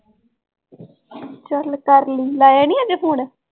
ਚੱਲ ਕਰ ਲਈ ਲਾਇਆ ਨੀ ਹਜੇ phone